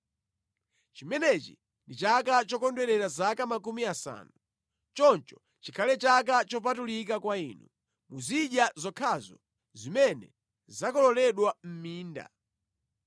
Chimenechi ndi chaka chokondwerera zaka makumi asanu. Choncho chikhale chaka chopatulika kwa inu. Muzidya zokhazo zimene zakololedwa mʼminda.